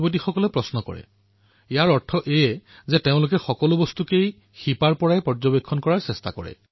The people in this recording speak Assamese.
এয়া ভাল কথা কাৰণ ইয়াৰ অৰ্থ এয়াই যে তেওঁলোকে সকলো কথা চালিজাৰি চায়